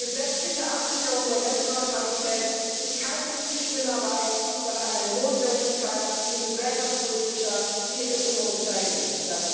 Die gesetzliche Absicherung der Netzneutralität ist keine linke Spinnerei, sondern eine Notwendigkeit in gesellschaftspolitischer wie in ökonomischer Hinsicht.